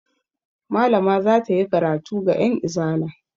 Malama za ta yi karatu ga 'yanizala.